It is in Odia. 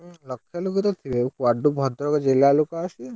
ଲକ୍ଷେ ଲୋକତ ଥିବେ। କୁଆଡୁ ଭଦ୍ରକ ଜିଲ୍ଲା ଲୋକ ଆସିବେ।